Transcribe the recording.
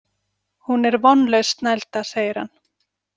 Hún er vonlaus snælda, segir hann.